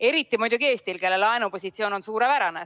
Eriti muidugi Eestil, kelle laenupositsioon on suurepärane.